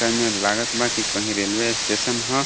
तनिमनी लागत बा की कहीं रेलवे स्टेशन ह.